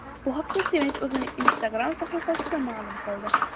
Bu haqda Sevinch o‘zining Instagram’dagi sahifasida ma’lum qildi.